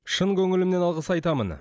шын көңілімнен алғыс айтамын